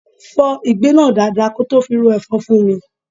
Fọ́ ìgbín náà dáadáa kí ó tó fi ro ẹ̀fọ́ fún mi.